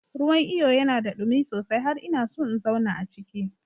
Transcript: Ruwan iyo yana da ɗumi sosai har ina so in zauna a ciki.